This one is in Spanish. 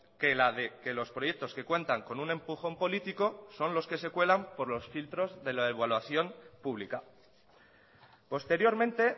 que la de que los proyectos que cuentan con un empujón político son los que se cuelan por los filtros de la evaluación pública posteriormente